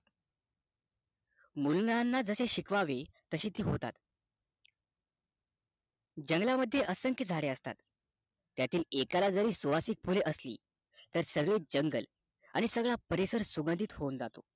मुलांना जसे शिकवावे तशी ती होतात जंगला मध्ये असंख्य झाडे असतात त्यातील एका ला जरी सुवासिक फुले असली तरी सगळं जंगल सगळा परिसर सुगंधीत होऊन जातो